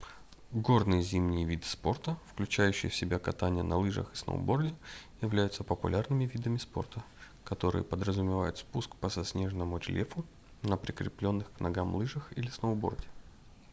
горные зимние виды спорта включающие в себя катание на лыжах и сноуборде являются популярными видами спорта которые подразумевают спуск по заснеженному рельефу на прикрепленных к ногам лыжах или сноуборде